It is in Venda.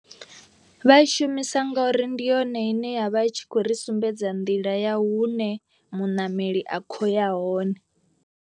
Vha i shumisa ngauri ndi yone ine ya vha i tshi khou ri sumbedza nḓila ya hune muṋameli a kho ya hone.